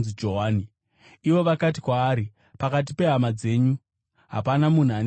Ivo vakati kwaari, “Pakati pehama dzenyu hapana munhu ane zita iroro.”